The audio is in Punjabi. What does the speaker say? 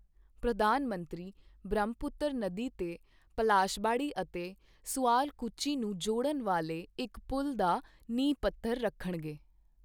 ਪ੍ਰਧਾਨ ਮੰਤਰੀ ਬ੍ਰਹਮਪੁਤਰ ਨਦੀ ਤੇ ਪਲਾਸ਼ਬਾੜੀ ਅਤੇ ਸੁਆਲਕੁਚੀ ਨੂੰ ਜੋੜਨ ਵਾਲੇ ਇੱਕ ਪੁੱਲ਼ ਦਾ ਨੀਂਹ ਪੱਥਰ ਰੱਖਣਗੇ